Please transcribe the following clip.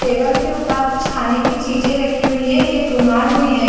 Table के ऊपर कुछ खाने की चीजें रखी हुई है एक रुमाल भी हैं ।